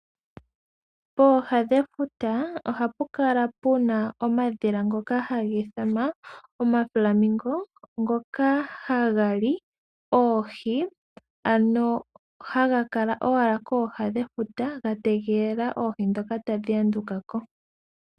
Pooha dhefuta ohapu kala puna omadhila ngoka hagi ithanwa omaflamingo, ngoka haga li oohi, ano haga kala owala kooha dhefuta, ga tegelela oohi ndhoka tadhi anduka ko.